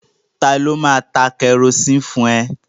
Ta ló máa ta kẹrosini fún ẹ?